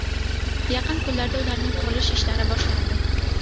Yaqin kunlarda ularning qurilish ishlari boshlanadi.